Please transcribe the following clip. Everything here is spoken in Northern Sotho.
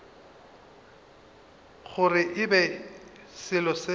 gore e be selo se